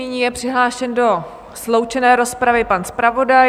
Nyní je přihlášen do sloučené rozpravy pan zpravodaj.